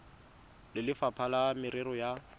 le lefapha la merero ya